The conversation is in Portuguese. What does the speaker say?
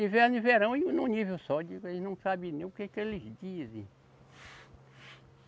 Inverno e verão em num nível só, digo eles não sabe nem o que que eles dizem.